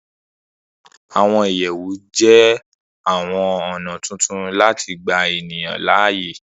Àwọn ìyẹ̀wù jẹ́ àwọn ọ̀nà tuntun láti gbà ènìyàn láàyè